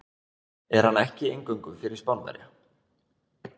Er hann ekki eingöngu fyrir Spánverja.